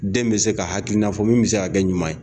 Den bɛ se ka hakilina fɔ min bɛ se ka kɛ ɲuman ye